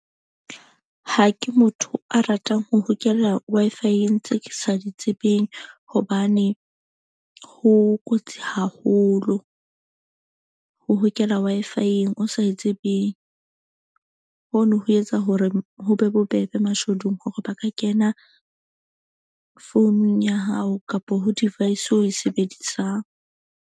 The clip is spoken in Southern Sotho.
Ha ke motho a ratang ho hokela Wi-Fi-eng tseo ke sa di tsebeng. Hobane ho kotsi haholo ho hokela Wi-Fi-eng o sa e tsebeng. Ho no ho etsa hore ho be bobebe mashodu hore ba ka kena founung ya hao kapo ho device eo o e sebedisang.